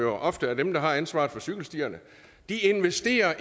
ofte er dem der har ansvaret for cykelstierne ikke investerer